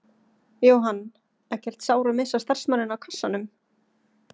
Jóhann: Ekkert sár að missa starfsmanninn á kassanum?